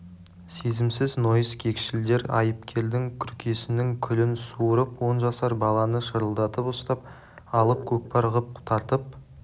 сезімсіз нойыс кекшілдер айыпкердің күркесінің күлін суырып он жасар баланы шырылдатып ұстап алып көкпар ғып тартып